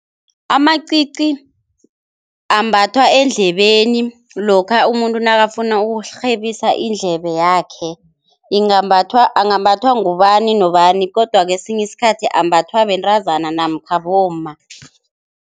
Amacici ambathwa eendlebeni lokha umuntu nakafuna ukurhebisa iindlebe yakhe, ingambathwa angambatha ngubani nobani, kodwa kwesinye isikhathi ambathwa bentazana namkha bomma.